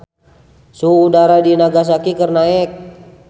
Suhu udara di Nagasaki keur naek